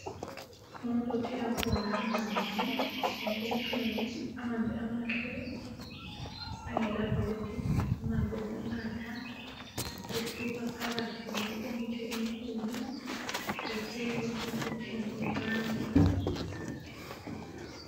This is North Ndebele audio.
Umuntu othela khona amanzi enkomitshini amanzi amahle angela ngcekeza amanzi wokunatha esuka phakathi kwenkomitsho enkulu ethelwa enkomitshini encane.